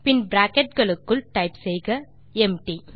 பின் bracket களுக்குள் type செய்க empty